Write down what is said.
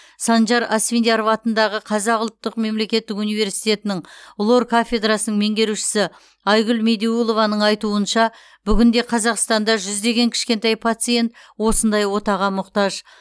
санжар асфендияров атындағы қазақ ұлттық мемелкеттік универститінің лор кафедрасының меңгерушісі айгүл медеулованың айтуынша бүгінде қазақстанда жүздеген кішкентай пациент осындай отаға мұқтаж